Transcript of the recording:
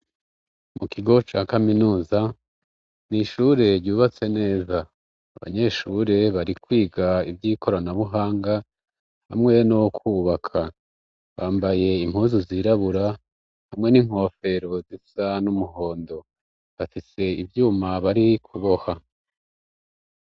Mu kigo ca kaminuza n'ishure ryubatse neza, abanyeshure bari kwiga ivy'ikoranabuhanga hamwe no kubaka, bambaye impuzu zirabura hamwe n'inkofero zisa n'umuhondo, bafise ivyuma bari kuboha